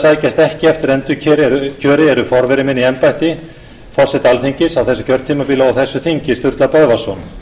sækjast ekki eftir endurkjöri er forveri minn í embætti forseta alþingis á þessu kjörtímabili og á þessu þingi sturla böðvarsson